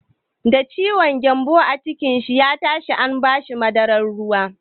Da ciwon gyambon cikin shi ya tashi an ba shi madarar ruwa.